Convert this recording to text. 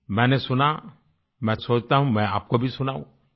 मैंने सुना मैं सोचता हूँ मैं आपको भी सुनाऊं